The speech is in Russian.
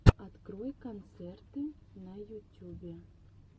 открой концерты на ютюбе